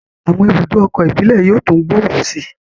Àwọn ibùdó ọkọ̀ íbìlẹ̀ yóò tún gbòòrò sí i